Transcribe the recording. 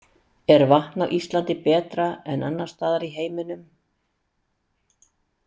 Er vatn á Íslandi betra en annars staðar í heiminum.